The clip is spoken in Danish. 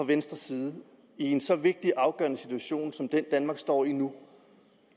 venstre i en så vigtig og afgørende situation som den danmark står i nu